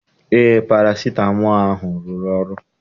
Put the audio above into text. Eé, parasitamọl ahụ rụrụ ọrụ.